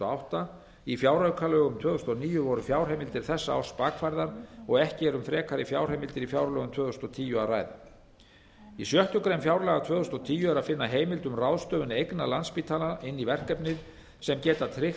átta í fjáraukalögum tvö þúsund og níu voru fjárheimildir þess árs bakfærðar og ekki er um frekari fjárheimildar á fjárlögum tvö þúsund og tíu að ræða í sjöttu grein fjárlaga tvö þúsund og tíu er að finna heimild um ráðstöfun eigna landspítala inn í verkefnið sem geta tryggt